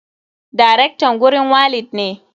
Darektan gurin walid ne.